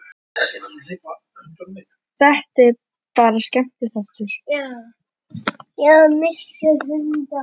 Þetta er bara skemmtiþáttur.